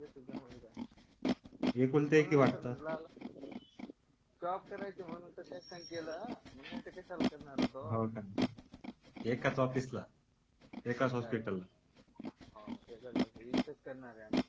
एकुलती एक आहे वाटतं जॉब करायची म्हणून तर नाहीतर कशाला करणार होतो एकाच ऑफिसला एकच हॉस्पिटल हा एकच इथेच करणार आहे आम्ही